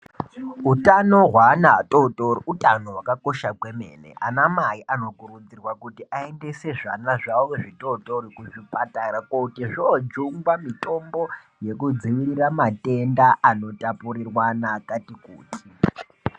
Utano hwana atotori utano hwakakosha kwemene. Anamai anokurudzirwa kuti aendese zvana zvawo zvitotori kuzvipatara koti zvojungwa mitombo yekudzivirira matenda anotapurirwana akati kuti.